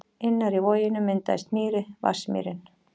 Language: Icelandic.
Innar í voginum myndaðist mýri, Vatnsmýrin.